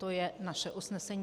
To je naše usnesení.